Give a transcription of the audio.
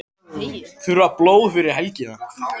Þurfa blóð fyrir helgina